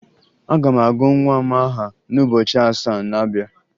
Aga m agụ nwa m aha n'ụbọchị asaa na-abịa